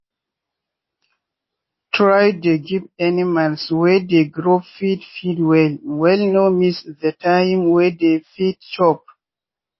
no dey give food wey plenty as e dey waste resources and e dey damage animals body.